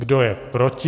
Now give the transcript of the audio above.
Kdo je proti?